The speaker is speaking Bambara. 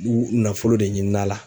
U nafolo de ɲini n'a la.